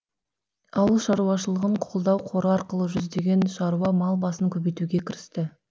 ауыл шаруашылығын қолдау қоры арқылы жүздеген шаруа мал басын көбейтуге кірісті